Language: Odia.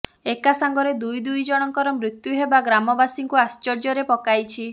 ଏକାସାଙ୍ଗରେ ଦୁଇ ଦୁଇଜଣଙ୍କର ମୃତ୍ୟୁ ହେବା ଗ୍ରାମବାସୀଙ୍କୁ ଆଶ୍ଚର୍ଯ୍ୟରେ ପକାଇଛି